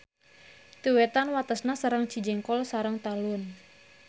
Ti wetan watesna sareng Cijengkol sareng Talun.